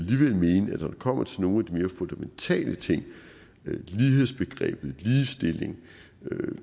kommer til nogle af de mere fundamentale ting lighedsbegrebet ligestilling